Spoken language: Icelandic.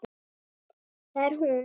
Það er hún.